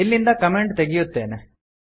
ಇಲ್ಲಿಂದ ಕಮೆಂಟ್ ತೆಗೆಯುತ್ತೇನೆ